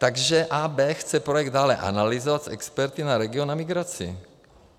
Takže AB chce projekt dále analyzovat s experty na region a migraci.